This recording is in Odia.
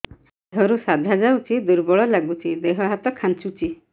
ଦେହରୁ ସାଧା ଯାଉଚି ଦୁର୍ବଳ ଲାଗୁଚି ଦେହ ହାତ ଖାନ୍ଚୁଚି